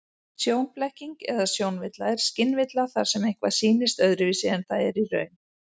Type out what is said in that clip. Sjónblekking eða sjónvilla er skynvilla þar sem eitthvað sýnist öðruvísi en það er í raun.